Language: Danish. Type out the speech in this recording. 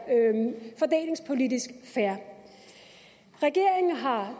fordelingspolitisk fair regeringen har